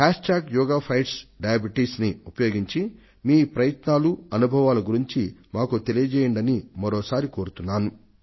hash tag yoga fights diabetes ని ఉపయోగించి మీ ప్రయత్నాలను అనుభవాలను గురించి మాకు తెలియజేయండని మరొక్క సారి కోరుతున్నాను